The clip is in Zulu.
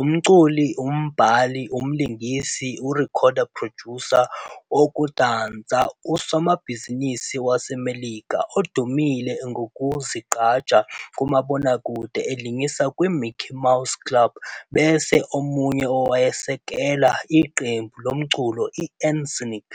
umculi, umbhali, umlingisi, urecord producer, wokudansa usomabhizinisi wase Melika odumile ngokuziqhaza kumabonakude elingisa kwi Mickey Mouse Club bese omunye owayesekela iqembu lomculo iN'Sync.